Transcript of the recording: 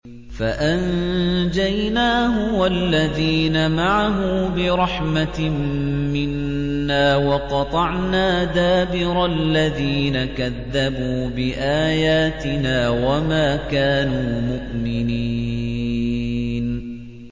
فَأَنجَيْنَاهُ وَالَّذِينَ مَعَهُ بِرَحْمَةٍ مِّنَّا وَقَطَعْنَا دَابِرَ الَّذِينَ كَذَّبُوا بِآيَاتِنَا ۖ وَمَا كَانُوا مُؤْمِنِينَ